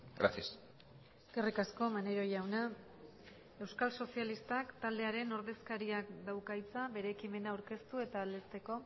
gracias eskerrik asko maneiro jauna euskal sozialistak taldearen ordezkariak dauka hitza bere ekimena aurkeztu eta aldezteko